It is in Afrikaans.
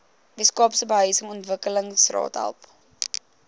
weskaapse behuisingsontwikkelingsraad help